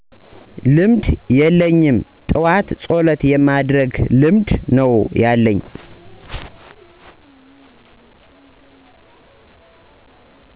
ልምድ የለኝም። ጥዎት ፀሎት የማድረግ ልምድ ነው ያለኝ